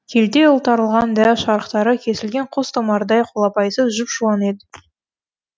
келте ұлтарылған дәу шарықтары кесілген қос томардай қолапайсыз жұп жуан еді